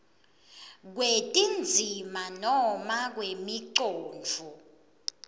kwetindzima noma kwemicondvo